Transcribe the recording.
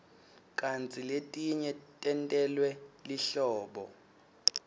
kantsi letinye tentelwe lihlobo